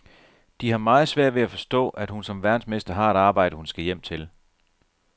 De har meget svært ved at forstå, at hun som verdensmester har et arbejde, hun skal hjem til.